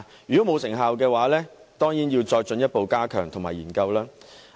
如果沒有成效的話，政府當然要進一步加強措施及進行研究。